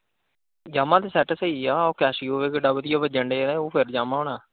yamah ਤੇ set ਸਹੀ ਆ ਉਹ casio ਵੇਖ ਕਿਡਾ ਵਧੀਆ ਵੱਜਣ ਦਿਆਂ ਉਹ ਫਿਰ yamaha ਹੋਣਾ।